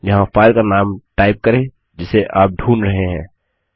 यहाँ फाइल का नाम टाइप करें जिसे आप ढूंढ रहे हैं